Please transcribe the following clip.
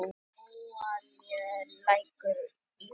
Hráolía lækkar í verði